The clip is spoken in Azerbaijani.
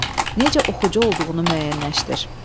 Necə oxucu olduğunu müəyyənləşdir.